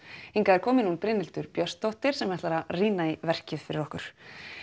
hingað er komin hún Brynhildur Björnsdóttir sem ætlar að rýna í verkið fyrir okkur